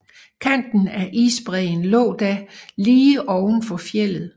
Kanten af isbræen lå da lige oven for fjeldet